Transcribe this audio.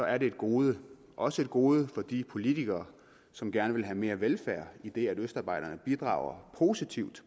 er et gode også et gode for de politikere som gerne vil have mere velfærd idet østarbejderne bidrager positivt